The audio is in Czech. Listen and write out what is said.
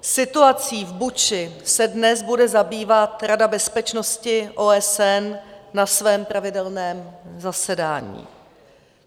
Situací v Buče se dnes bude zabývat Rada bezpečnosti OSN na svém pravidelném zasedání.